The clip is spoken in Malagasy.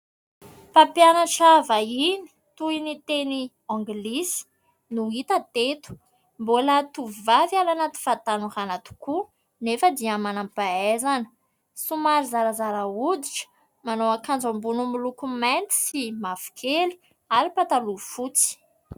Mpampianatra vahiny toy ny teny anglisy no hita teto, mbola tovovavy any anaty fahatanorana tokoa nefa dia manam-pahaizana, somary zarazara hoditra, manao akanjo ambony miloko mainty sy mavokely ary pataloha fotsy.